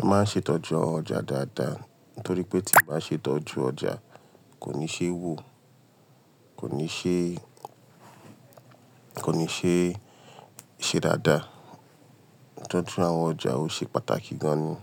A máa ń ṣètọ́jú ọjà dáadáa, torí pé tí ń bá ṣètọ́jú ọjà kò ní ṣe wò, kò ní ṣe, kò ní ṣe é ṣe dáadáa. Tọ́jú àwọn ọjà ó ṣe pàtàkì gan ni.